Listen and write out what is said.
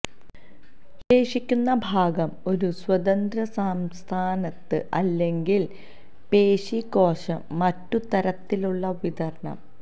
ശേഷിക്കുന്ന ഭാഗം ഒരു സ്വതന്ത്ര സംസ്ഥാനത്ത് അല്ലെങ്കിൽ പേശി കോശം മറ്റു തരത്തിലുള്ള വിതരണം